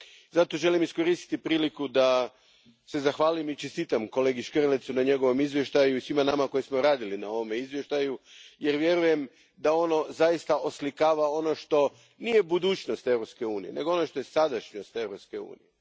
Zato želim iskoristiti priliku da se zahvalim i čestitam kolegi Škrlecu na njegovom izvještaju i svima nama koji smo radili na ovome izvještaju, jer vjerujem da ono zaista oslikava ono što nije budućnost Europske unije, nego ono što je sadašnjost Europske unije.